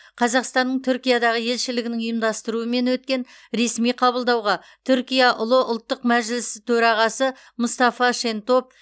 қазақстанның түркиядағы елшілігінің ұйымдастыруымен өткен ресми қабылдауға түркия ұлы ұлттық мәжілісі төрағасы мұстафа шентоп